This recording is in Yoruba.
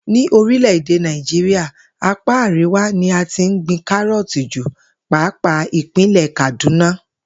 Ní orílè̩-èdè Nàìjíríà, apá àríwá ni a ti ń gbin káró̩ò̩tì jù pàápàá ìpínlè̩ Kàdúnà